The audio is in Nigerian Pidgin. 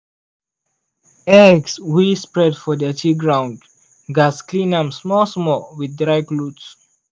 eggs wey spread for dirty ground gats clean am small-small with dry cloth.